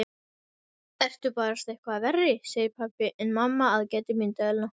Ertu barasta eitthvað verri, segir pabbi en mamma aðgætir myndavélina.